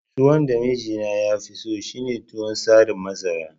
Tuwon da mijina yafi so shine tuwon tsarin masara